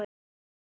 Er hann farinn?